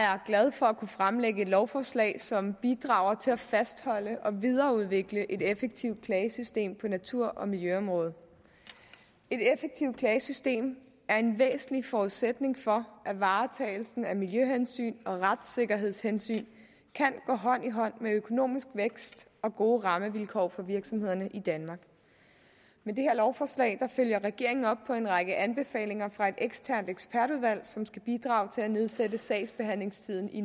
jeg er glad for at kunne fremlægge et lovforslag som bidrager til at fastholde og videreudvikle et effektivt klagesystem på natur og miljøområdet et effektivt klagesystem er en væsentlig forudsætning for at varetagelsen af miljøhensyn og retssikkerhedshensyn kan gå hånd i hånd med økonomisk vækst og gode rammevilkår for virksomhederne i danmark med det her lovforslag følger regeringen op på en række anbefalinger fra et eksternt ekspertudvalg som skal bidrage til at nedsætte sagsbehandlingstiden i